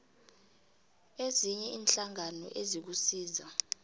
ezinye iinhlangano ezikusiza